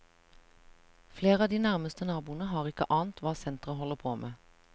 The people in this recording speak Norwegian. Flere av de nærmeste naboene har ikke ant hva senteret holder på med.